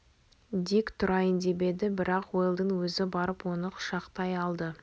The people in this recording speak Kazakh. дик тұрайын деп еді бірақ уэлдон өзі барып оны құшақтай алды